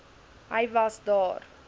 hy was daar